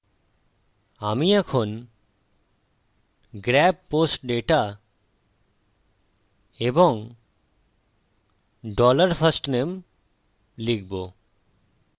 আমি এখন grab post data এবং dollar firstname লিখব